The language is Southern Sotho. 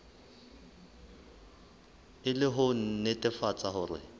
e le ho nnetefatsa hore